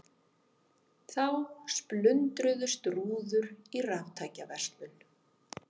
Þá splundruðust rúður í raftækjaverslun